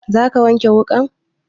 Za ka wanke wuƙan?